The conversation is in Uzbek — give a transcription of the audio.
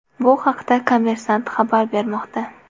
Bu haqda ”Kommersant” xabar bermoqda .